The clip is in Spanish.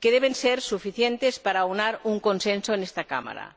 que deben ser suficientes para aunar un consenso en esta Cámara.